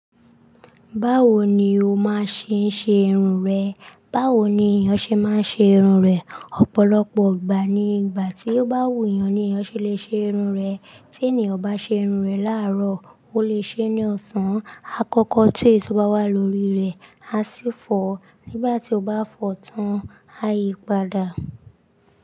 Báwo ni o máa ṣe ṣe irun rẹ? Báwo ni èèyàn ṣe máa ń ṣe irun rẹ̀? Ọ̀pọ̀lọpọ̀ ìgbà ni ìgbà tí ó bá wù èèyàn ni èèyàn ṣe lè ṣe irun rẹ̀. Tí ènìyàn o bá ṣe irun rẹ̀ láàárọ̀, ó lè ṣe ní ọ̀sán. Àkọ́kọ́ tu èso bá wà lórí rẹ̀, a sì fọ̀ọ́ nígbà tí o bá fọ̀ tán, a yí padà.